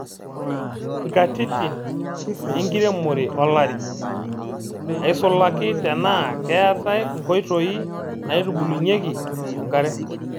Nkatitin enkiremore olari, aisulaki tenaa keetae nkoitoi naabukokinyieki enkare.